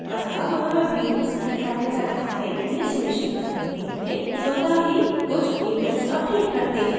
अत: हमारा view सही कार्य कर रहा है यह सुनिश्चित करने के लिए स्वत: ही कुछ events अपडेट करते हैं